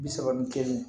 Bi saba ni kelen